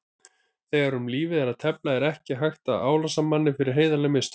Þegar um lífið er að tefla er ekki hægt að álasa manni fyrir heiðarleg mistök.